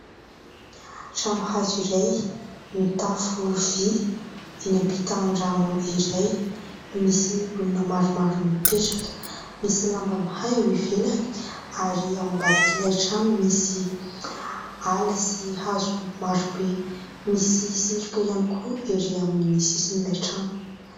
Trano hazo iray mitafo vy. Eny ampitan'ny rano iray no misy olona maromaro mipetraka. Misy lamba miaha eo ivelany ary ao ambadik'ilay trano misy ala sy hazo maro be. Misy setroka ihany koa ery amin'ny sisin'ilay trano.